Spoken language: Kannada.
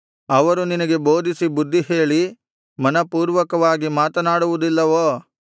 ಅವರು ನಿನಗೆ ಬೋಧಿಸಿ ಬುದ್ಧಿಹೇಳಿ ಮನಃಪೂರ್ವಕವಾಗಿ ಮಾತನಾಡುವುದಿಲ್ಲವೋ